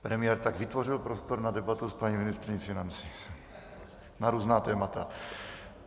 Premiér tak vytvořil prostor na debatu s paní ministryní financí na různá témata.